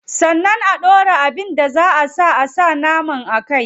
Sannan a dora abin da zaa a saka naman a kai.